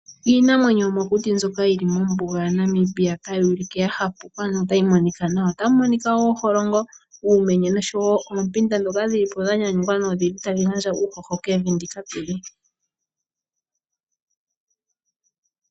Iinamwenyo yomokuti mbyoka yili mombuga yaNamibia tayi ulike yahapuka notayi monika nawa. Otamu monika oholongo, uumenye noshowo oompinda dhoka tadhi gandja uuhoho kevi ndika.